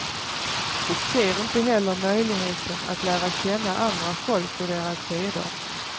De ser inte heller möjligheten att lära känna andra folk och deras seder.